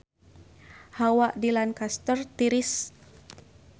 Hawa di Lancaster tiris